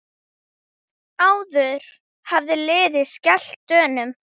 Áður hafði liðið skellt Dönum.